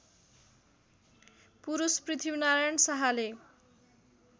पुरूष पृथ्वीनारायण शाहले